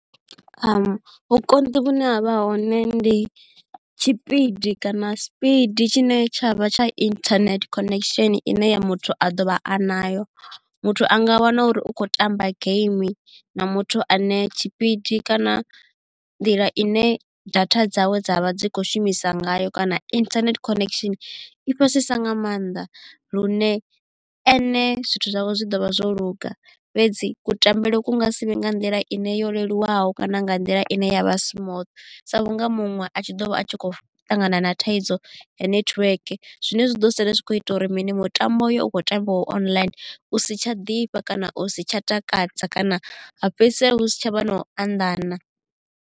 Vhukonḓi vhune havha hone ndi tshipidi kana sipidi tshine tshavha tsha internet connection ine ya muthu a ḓo vha a nayo. muthu a nga wana uri u kho tamba game na muthu ane tshipidi kana nḓila ine data dzawe dza vha dzi kho shumisa ngayo kana internet connection i fhasisa nga maanḓa lune ene zwithu zwawe zwi ḓo vha zwo luga fhedzi kutambele ku nga sivhe nga nḓila ine yo leluwaho kana nga nḓila ine ya vha smototh sa vhunga muṅwe a tshi ḓo vha a tshi khou ṱangana na thaidzo ya netiweke. Zwine zwa ḓo sala zwi kho ita uri mini mutambo uyo u khou tambiwa online u si tsha ḓifha kana u si tsha takadza kana ha fhedzisela hu si tshavha na u anḓana.